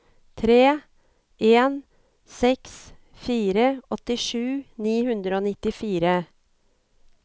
tre en seks fire åttisju ni hundre og nittifire